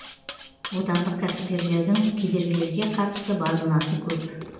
отандық кәсіпкерлердің кедергілерге қатысты базынасы көп